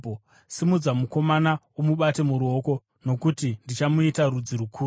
Simudza mukomana umubate noruoko, nokuti ndichamuita rudzi rukuru.”